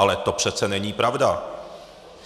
Ale to přece není pravda.